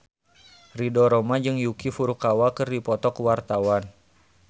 Ridho Roma jeung Yuki Furukawa keur dipoto ku wartawan